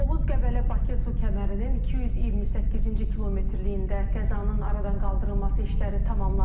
Oğuz-Qəbələ-Bakı su kəmərinin 228-ci kilometrliyində qəzanın aradan qaldırılması işləri tamamlanıb.